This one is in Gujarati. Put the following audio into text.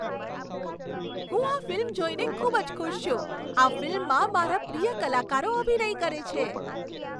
હું આ ફિલ્મ જોઈને ખૂબ જ ખુશ છું. આ ફિલ્મમાં મારા પ્રિય કલાકારો અભિનય કરે છે.